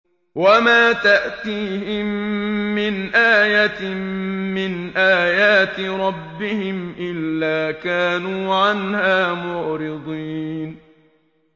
وَمَا تَأْتِيهِم مِّنْ آيَةٍ مِّنْ آيَاتِ رَبِّهِمْ إِلَّا كَانُوا عَنْهَا مُعْرِضِينَ